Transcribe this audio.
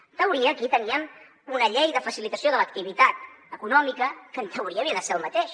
en teoria aquí teníem una llei de facilitació de l’activitat econòmica que en teoria havia de ser el mateix